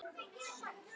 Lætur höndina síga.